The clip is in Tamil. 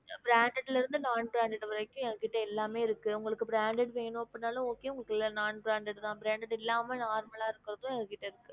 Branded ல இருந்து non-branded வரைக்கு எங்க கிட்ட எல்லாமே இருக்கு உங்களுக்கு branded வேணும் அப்படி நாளும் okay உங்களுக்கு இல்ல non-branded தான் branded இல்லாம normal ஆ இருக்குறதும் எங்க கிட்ட இருக்கு